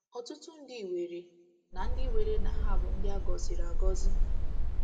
Ọtụtụ ndị weere na ndị weere na ha bụ ndị a gọziri agọzi.